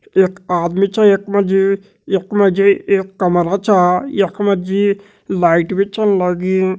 एक आदमी छ यख मजी। यख मजी एक कमरा छा। यख मजी लाईट भी चन लगीं।